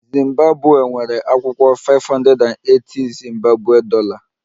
Zimbabwe nwere akwụkwọ 580- zimbabwe dollar